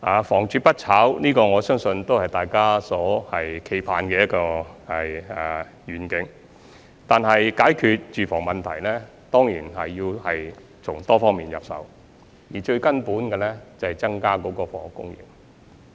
房住不炒，我相信是大家期盼的願景，但解決住房問題，當然要從多方面入手，而最根本的，就是要增加房屋供應。